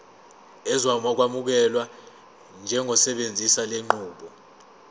uzokwamukelwa njengosebenzisa lenqubo